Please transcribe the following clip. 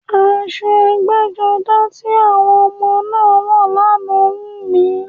Aṣọ ẹgbẹ́-jọdá ti àwọn ọmọ náà wọ̀ lánàá wù mí.